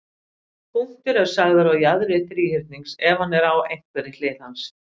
Punktur er sagður á jaðri þríhyrnings, ef hann er á einhverri hlið hans.